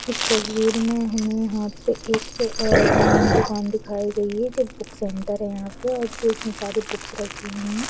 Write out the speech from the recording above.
इस तस्वीर मे हमें यहा पे हमे एक-अ-हं दुकान दिखाई गई है जो बुक सेंटर है यंहा पे जो उसमे सारी बुक्स रखी गई है।